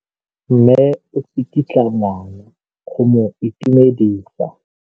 Mme o tsikitla ngwana go mo itumedisa.